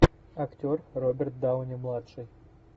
актер роберт дауни младший